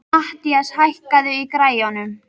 Mathías, hækkaðu í græjunum.